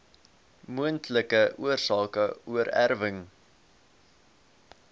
moontlike oorsake oorerwing